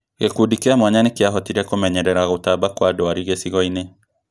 Gĩkundi kia mwanya nĩkĩahotire kũmenyerera gũtamba kwa ndwari gĩcigo-inĩ